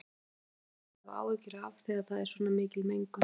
Hverju þarf fólk að hafa áhyggjur af þegar það er svona mikil mengun?